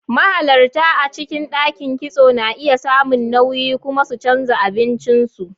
Mahalarta a cikin ɗakin kitso na iya samun nauyi kuma su canza abincin su.